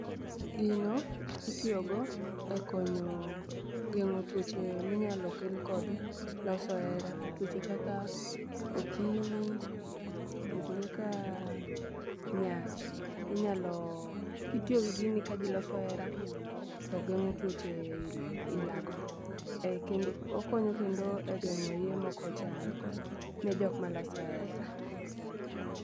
Gino itiyo go e konyo geng'o tuoche minyalo kel kod loso hera, tuoche kaka okimi, tuoche kaka nyach. Inyalo kitiyo gi gini ka jii loso hera to geng'o tuoche aila go. Okonyo kendo e geng'o iye mokochan ne jok maloso hera.